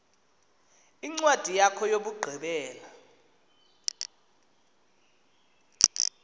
incwadi yakho yokugqibela